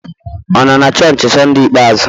Ọ nọ na chọọchị Sunday ikpeazụ?